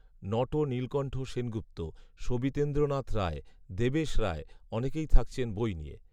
Not Nilkantha Sengupta, Sabitendranath Roy, Debesh Roy, অনেকেই থাকছেন বই নিয়ে।